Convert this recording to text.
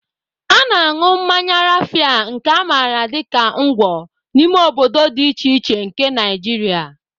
A na-aṅụ mmanya Rafia, nke a maara dị ka Ngwo, n'ime obodo dị iche iche nke Naijiria.